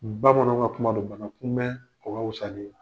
Bamananw ka kuma don ,bana kunbɛn o ka fisa ni